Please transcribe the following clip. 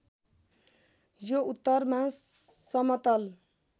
यो उत्तरमा समतल